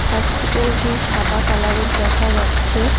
হসপিটালটি সাদা কালারের দেখা যাচ্ছে।